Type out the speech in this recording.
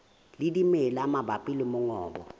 le dimela mabapi le mongobo